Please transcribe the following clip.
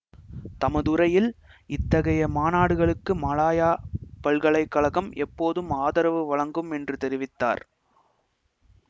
தமதுரையில் இத்தகைய மாநாடுகளுக்கு மலாயா பல்கலை கழகம் எப்போதும் ஆதரவு வழங்கும் என்று தெரிவித்தார்